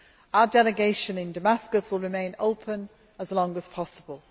Our Delegation in Damascus will remain open for as long as possible.